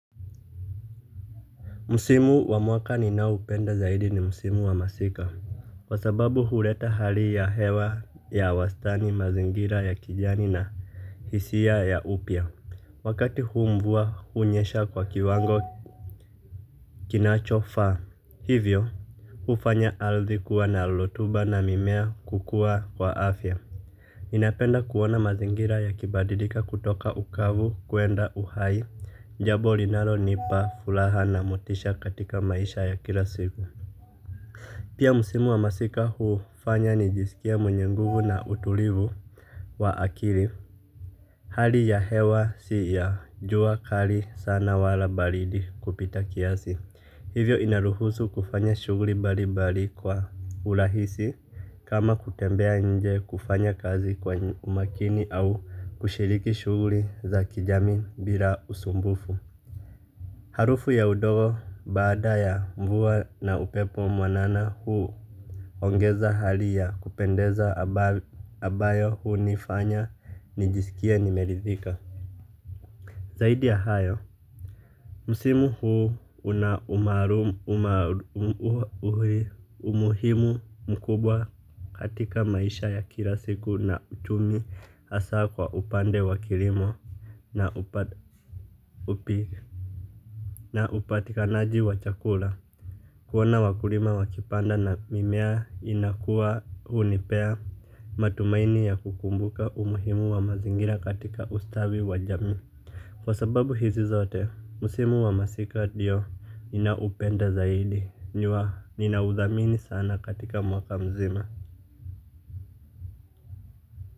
Musimu wa mwaka ninaoupenda zaidi ni msimu wa masika. Kwa sababu hureta hali ya hewa ya wastani mazingira ya kijani na hisia ya upyya. Wakati huu mvua hunyesha kwa kiwango kinachofaa. Hivyo, hufanya ardhi kuwa na lotuba na mimea kukua kwa afya ninapenda kuona mazingira yakibadilika kutoka ukavu kuenda uhai. Jabo linalonipa fulaha na motisha katika maisha ya kila siku. Pia msimu wa masika huufanya nijisikie mwenye nguvu na utulivu wa akili. Hali ya hewa si ya jua kali sana wala balidi kupita kiasi. Hivyo inaruhusu kufanya shuguri mbalimbali kwa ulahisi kama kutembea nje kufanya kazi kwa umakini au kushiriki shuguri za kijamii bila usumbufu. Harufu ya udogo baada ya mvua na upepo mwanana huuongeza hali ya kupendeza abayo huunifanya nijisikie nimeridhika. Zaidi ya hayo msimu huu una umuhimu mkubwa katika maisha ya kila siku na uchumi hasa kwa upande wa kilimo na upatikanaji wa chakula. Kuona wakulima wakipanda na mimea inakua hunipea matumaini ya kukumbuka umuhimu wa mazingira katika ustawi wa jamii. Kwa sababu hizi zote, musimu wa masika dio ninaupenda zaidi, ninaudhamini sana katika mwaka mzima.